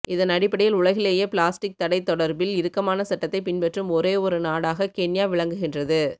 இதன் அடிப்படையில் உலகிலேயே பிளாஸ்டிக் தடை தொடர்பில் இறுக்கமான சட்டத்தை பின்பற்றும் ஒரே ஒரு நடாக கென்யா விளங்குகின்றது